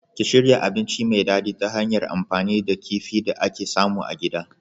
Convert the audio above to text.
Ki shirya abinci mai dadi ta hanyar amfani da kifi da ake samu a gida.